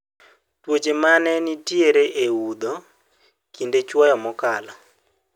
tuoche mane ntiere e oudho kinde chuoyo mokalo